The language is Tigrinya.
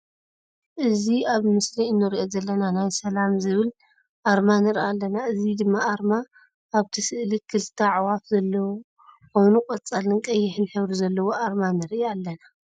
እዚ ኣብ ምስሊ እንሪኦ ዘለና ናይ ሰላም ዝብል ኣርማ ንርኢ ኣለና። እዚ ድማ ኣርማ ኣብቲ ስእሊ ክልተ ኣዕዋፍ ዘለዎ ኮይኑ ቀፃልን ቀይሕን ሕብሪ ዘለዎ ኣርማ ንርኢ ኣለና።